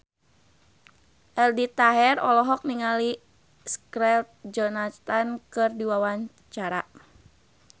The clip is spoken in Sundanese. Aldi Taher olohok ningali Scarlett Johansson keur diwawancara